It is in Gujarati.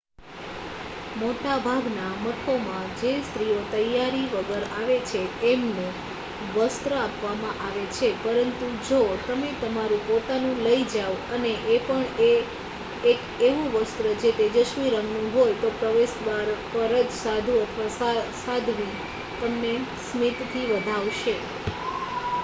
મોટાભાગના મઠોમાં જે સ્ત્રીઓ તૈયારી વગર આવે છે એમને વસ્ત્ર આપવામાં આવે છે પરંતુ જો તમે તમારું પોતાનું લઈ જાઓ અને એ પણ 1 એવું વસ્ત્ર જે તેજસ્વી રંગનું હોય તો પ્રવેશદ્વાર પર જ સાધુ અથવા સાધ્વી તમને સ્મિતથી વધાવશે